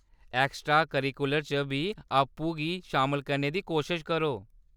Extra curricular च बी आपूं गी शामल करने दी कोशश करो।